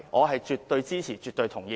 我絕對支持，絕對同意。